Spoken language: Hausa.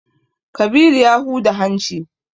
Kabiru ya huda hanci.